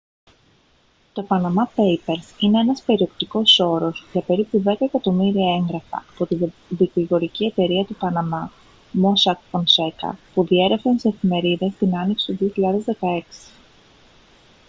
το «panama papers» είναι ένας περιεκτικός όρος για περίπου δέκα εκατομμύρια έγγραφα από τη δικηγορική εταιρεία του παναμά mossack fonseca που διέρρευσαν στις εφημερίδες την άνοιξη του 2016